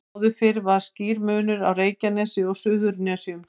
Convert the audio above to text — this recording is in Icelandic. Áður fyrr var skýr munur á Reykjanesi og Suðurnesjum.